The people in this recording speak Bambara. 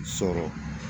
Sɔrɔ